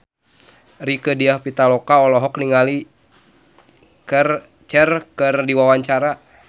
Rieke Diah Pitaloka olohok ningali Cher keur diwawancara